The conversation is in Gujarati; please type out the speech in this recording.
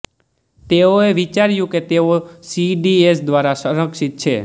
તેઓએ વિચાર્યું કે તેઓ સીડીએસ દ્વારા સંરક્ષિત છે